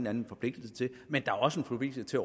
anden forpligtelse til men der er også en forpligtelse